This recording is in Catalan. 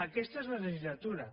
aquesta és la legislatura